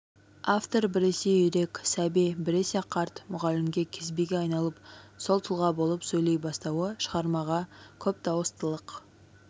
автор біресе үйрек сәби біресе қарт мұғалімге кезбеге айналып сол тұлға болып сөйлей бастауы шығармаға көп дауыстылық